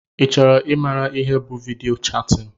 i chọrọ i maara ihe bụ vidiyo chatin?